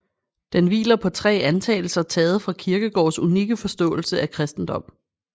Den hviler på tre antagelser taget fra Kierkegaards unikke forståelse af kristendom